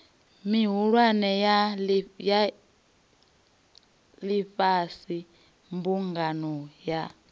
mihulwane ya ifhasi mbumbano ya